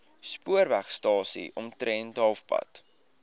spoorwegstasie omtrent halfpad